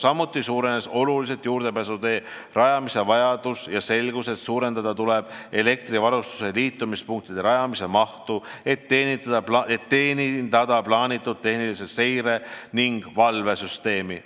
Samuti suurenes oluliselt juurdepääsuteede rajamise vajadus ja selgus, et suurendada tuleb elektrivarustuse liitumispunktide rajamise mahtu, et teenindada plaanitud tehnilise seire ning valve süsteeme.